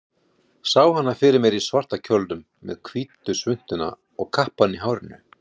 Sá hana fyrir mér í svarta kjólnum, með hvítu svuntuna og kappann í hárinu.